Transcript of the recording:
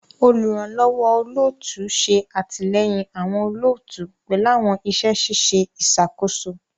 Oluranlọwọ olootu ṣe atilẹyin awọn olootu pẹlu awọn iṣẹ ṣiṣe iṣakoso